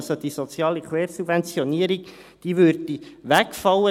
Die soziale Quersubventionierung würde also wegfallen.